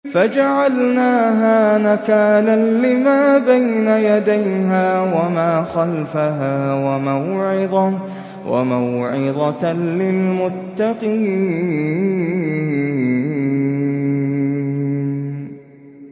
فَجَعَلْنَاهَا نَكَالًا لِّمَا بَيْنَ يَدَيْهَا وَمَا خَلْفَهَا وَمَوْعِظَةً لِّلْمُتَّقِينَ